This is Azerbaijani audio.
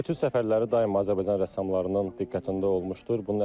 Etüd səfərləri daima Azərbaycan rəssamlarının diqqətində olmuşdur.